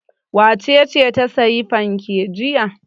Wace ce ta sayi fanke jiya?